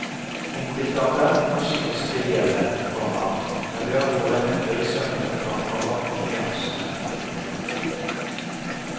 Enkelte av dem kan synes trivielle, komma men ved å gå dem etter i sømmene fremkommer nyansene. punktum